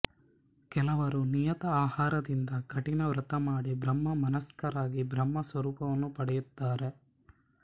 ಕೆಲವರು ನಿಯತ ಆಹಾರದಿಂದ ಕಠಿಣ ವ್ರತಮಾಡಿ ಬ್ರಹ್ಮ ಮನಸ್ಕರಾಗಿ ಬ್ರಹ್ಮ ಸ್ವರೂಪವನ್ನು ಪಡೆಯುತ್ತಾರೆ